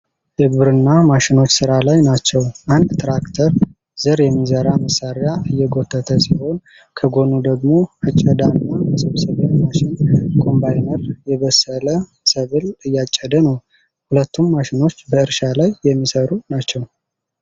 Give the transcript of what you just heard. የግብርና ማሽኖች ስራ ላይ ናቸው። አንድ ትራክተር ዘር የሚዘራ መሳሪያ እየጎተተ ሲሆን፣ ከጎኑ ደግሞ አጨዳና መሰብሰብያ ማሽን (ኮምባይነር) የበሰለ ሰብል እያጨደ ነው። ሁለቱም ማሽኖች በእርሻ ላይ የሚሰሩ ናቸው።